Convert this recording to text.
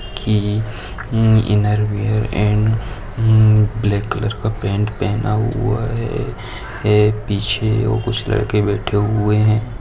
की inner wear भी and black colour का पेन पहना हुआ है एक पीछे कुछ लड़के बेठे हुए है।